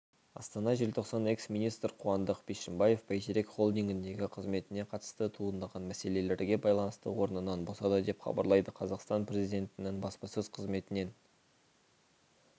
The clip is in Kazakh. астана желтоқсан экс-министр қуандық бишімбаев бәйтерек холдингіндегі қызметіне қатысты туындаған мәселелерге байланысты орнынан босады деп хабарлады қазақстан президентінің баспасөз қызметінен